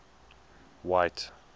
white